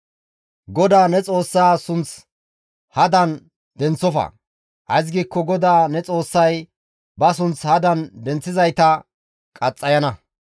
«GODAA ne Xoossaa sunth hadan denththofa; ays giikko GODAA ne Xoossay ba sunth hadan denththizayta qaxxayana.